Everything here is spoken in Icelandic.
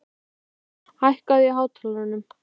Vésteinn, hækkaðu í hátalaranum.